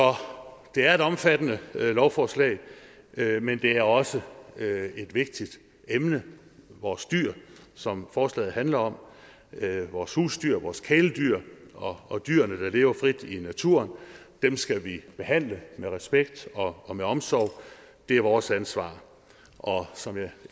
det er et omfattende lovforslag men det er også et vigtigt emne vores dyr som forslaget handler om vores husdyr vores kæledyr og dyrene der lever frit i naturen skal vi behandle med respekt og med omsorg det er vores ansvar og som jeg